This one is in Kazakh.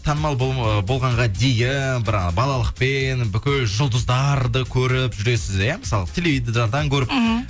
танымал болғанға дейін бір ана балалықпен бүкіл жұлдыздарды көріп жүресіз иә мысалы теледидардан көріп мхм